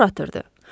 Tor atırdı.